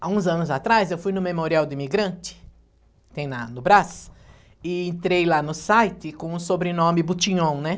Há uns anos atrás, eu fui no Memorial do Imigrante, tem lá no Brás, e entrei lá no site com o sobrenome Butinhon, né?